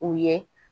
U ye